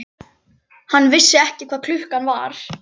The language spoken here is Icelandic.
Hann vissi ekki hvað klukkan var.